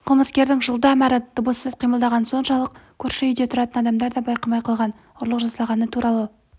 қылмыскерлердің жылдам әрі дыбыссыз қимылдағаны соншалық көрші үйде тұратын адамдар байқамай да қалған ұрлық жасалғаны туралы